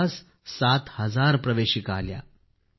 जवळपास सात हजार प्रवेशिका आल्या